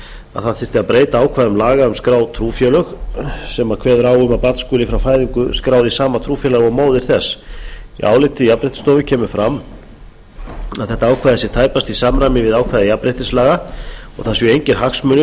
að það þyrfti að breyta ákvæðum laga um skráð trúfélög sem kveða á um að barn skuli frá fæðingu skráð í sama trúfélag og móðir þess í áliti jafnréttisstofu kemur fram að þetta ákvæði sé tæpast í samræmi við ákvæði jafnréttislaga og það séu engir hagsmunir